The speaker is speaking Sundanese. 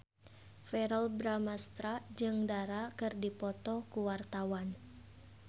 Verrell Bramastra jeung Dara keur dipoto ku wartawan